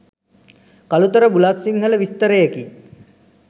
Kalutara Bulathsinhala විස්තරයකි.